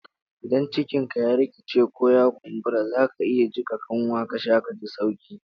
Idan cikin ka rikici, ko ya kumbura, zaka iya jika kanwa ka sha kaji sauki.